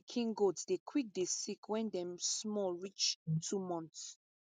pikin goat dey quick dey sick wen dey small reach two months